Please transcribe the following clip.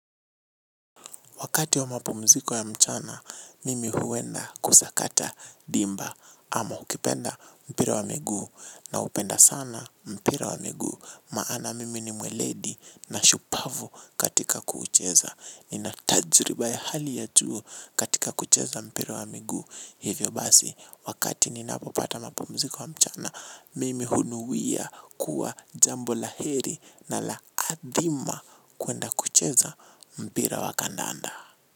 Wakati wa mapumziko ya mchana, mimi huenda kusakata dimba ama ukipenda mpira wa migu naupenda sana mpira wa miguu. Maana mimi ni mweledi na shupavu katika kuucheza. Nina tajriba ya hali ya juu katika kucheza mpira wa miguu. Hivyo basi, wakati ninapopata mapamziko ya mchana, mimi hunuia kuwa jambo la heri na la adhima kuenda kucheza mpira wa kandaanda.